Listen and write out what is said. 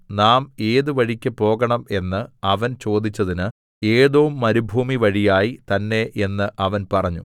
നാം ഏതു വഴിക്ക് പോകണം എന്ന് അവൻ ചോദിച്ചതിന് ഏദോംമരുഭൂമി വഴിയായി തന്നേ എന്ന് അവൻ പറഞ്ഞു